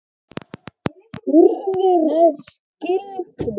Hurðir skylfu.